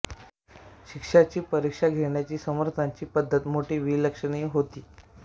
शिष्याची परीक्षा घेण्याची समर्थांची पद्धत मोठी विलक्षण होती